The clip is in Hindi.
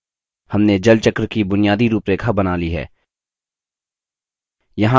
हमने जलचक्र की बुनियादी रूपरेखा बना we है